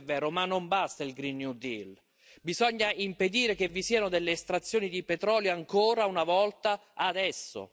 Sì, questo è vero, ma non basta il Green New Deal. Bisogna impedire che vi siano delle estrazioni di petrolio, ancora una volta, adesso.